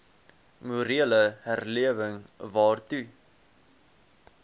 morele herlewing waartoe